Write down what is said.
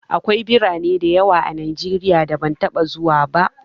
Akwai birane da yawa a Najeriya da ban taɓa zuwa ba.